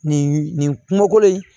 Nin nin kungoko in